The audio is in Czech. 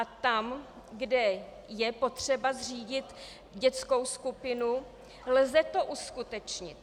A tam, kde je potřeba zřídit dětskou skupinu, lze to uskutečnit.